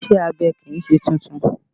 Ìṣe abẹ kì í ṣe tuntun